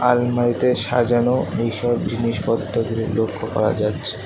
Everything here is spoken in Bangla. আলমারিতে সাজানো এইসব জিনিসপত্রগুলো লক্ষ্য করা যাচ্ছে।